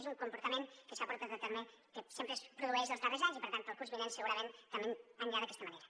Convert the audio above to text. és un comportament que s’ha portat a terme que sempre es produeix els darrers anys i per tant el curs vinent segurament també anirà d’aquesta manera